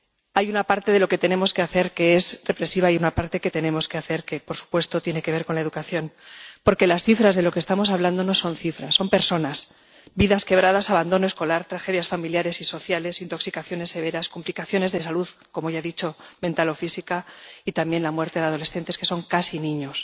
Hay una parte de lo que tenemos que hacer que es reflexiva y una parte que tenemos que hacer que, por supuesto, tiene que ver con la educación, porque las cifras de lo que estamos hablando no son cifras, son personas vidas quebradas, abandono escolar, tragedias familiares y sociales, intoxicaciones severas, complicaciones de salud —como ya he dicho— mental o física, y también la muerte de adolescentes que son casi niños.